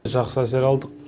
жақсы әсер алдық